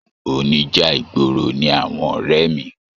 Oníjà ìgboro ní àwọn ọrẹ mí.